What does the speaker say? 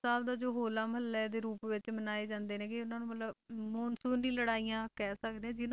ਸਾਹਿਬ ਦਾ ਜੋ ਹੋਲਾ ਮਹੱਲੇ ਦੇ ਰੂਪ ਵਿੱਚ ਮਨਾਏ ਜਾਂਦੇ ਹੈਗੇ ਉਹਨਾਂ ਨੂੰ ਮਤਲਬ ਮਾਨਸੂਨ ਦੀ ਲੜਾਈਆਂ ਕਹਿ ਸਕਦੇ ਹਾਂ।